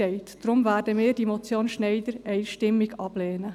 Deshalb werden wir die Motion Schneider einstimmig ablehnen.